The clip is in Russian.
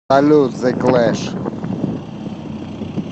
салют зэ клэш